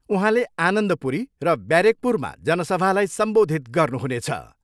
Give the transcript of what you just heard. उहाँले आनन्दपुरी र ब्यारेकपुरमा जनसभालाई सम्बोधित गर्नु हुनेछ।